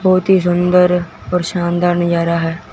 बहोत ही सुंदर और शानदार नजारा हैं।